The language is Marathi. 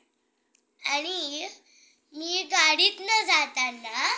आणि मी गाडीतनं जाताना